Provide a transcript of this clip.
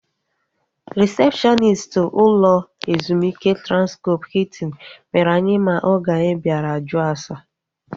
Rịsepshọnist ụlọ ezumike Transkọp Hiltin mere anyị mma oge anyi bịara jụọ ase